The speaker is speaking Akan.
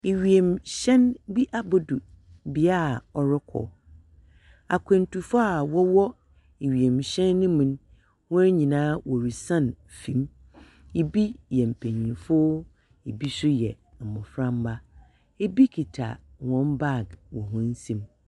Ewimuhyɛn bi abodu bea a ɔrokɔ. Akwantufo a wɔwɔ wimuhyɛn no mu no hɔn nyinaa worisian famu. Bi yɛ mpenyinfo. Bi nso yɛ mboframba, bi kita hɔn bag wɔ hɔn nsamu.